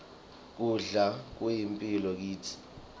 kudla kuyimphilo kitsi